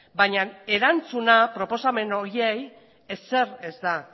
baina erantzuna proposamen horiei ezer ez da